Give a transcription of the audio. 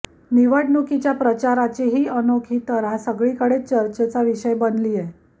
निवडणुकीच्या प्रचाराची ही अनोखी तऱ्हा सगळीकडेच चर्चेचा विषय बनलीय